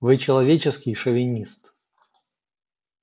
вы человеческий шовинист